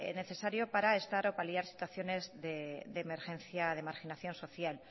necesario para estar o paliar situaciones de emergencia de marginación social